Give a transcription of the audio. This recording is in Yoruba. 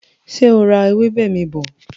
Ṣé o ra ewébè mi bọ̀?